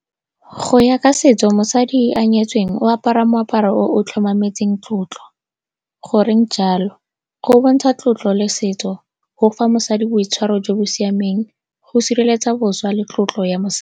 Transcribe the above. Go ya ka setso, mosadi yo a nyetsweng o apara moaparo o o tlhomametseng tlotlo. Goreng jalo? Go bontsha tlotlo le setso, go fa mosadi boitshwaro jo bo siameng, go sireletsa boswa le tlotlo ya mosadi.